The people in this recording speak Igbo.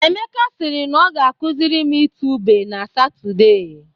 Emeka sịrị na ọ ga-akụzịrị m itu ube na Satọde.